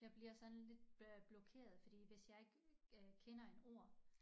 Jeg bliver sådan lidt øh blokeret fordi hvis jeg ikke øh kender en ord